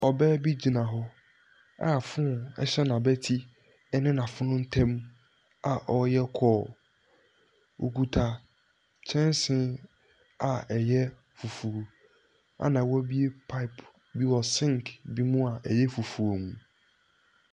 Ɔbaa bi gyina hɔ a phone hyɛ n'abati ne fono ntam a ɔreyɛ call. Ɔkuta kyɛnse a ɛyɛ fufuo, ɛnna wabuɛ pipe bi wɔ sink bi mu a ɛyɛ fufuo mu.